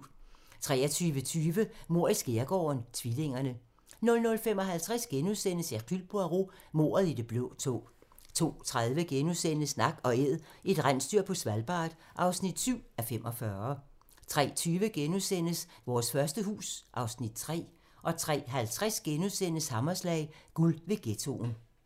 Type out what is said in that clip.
23:20: Mord i skærgården: Tvillingerne 00:55: Hercule Poirot: Mordet i det blå tog * 02:30: Nak & Æd - et rensdyr på Svalbard (7:45)* 03:20: Vores første hus (Afs. 3)* 03:50: Hammerslag - guld ved ghettoen *